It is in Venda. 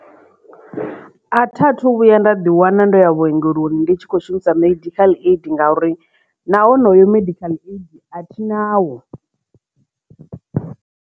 A tha thu vhuya nda ḓi wana ndo ya vhuongeloni ndi tshi kho shumisa medical aid ngauri na honoyo medical aid a thi nawo.